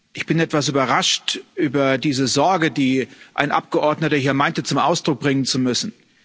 Ich bin etwas überrascht über diese Sorge, die ein Abgeordneter hier meinte, zum Ausdruck bringen zu müssen.